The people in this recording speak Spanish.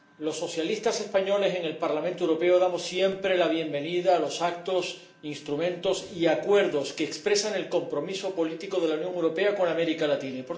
Los socialistas españoles en el Parlamento Europeo damos siempre la bienvenida a los actos, instrumentos y acuerdos que expresan el compromiso político de la Unión Europea con América Latina.